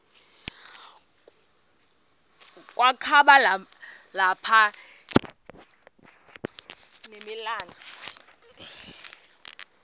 kwakaba lapha nemalana